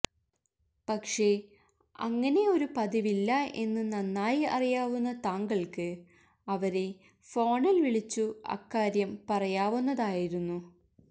പക്ഷേ അങ്ങനെ ഒരു പതിവില്ല എന്ന് നന്നായി അറിയാവുന്ന താങ്കള്ക്ക് അവരെ ഫോണില് വിളിച്ചു അക്കാര്യം പറയാവുന്നതായിരുന്നു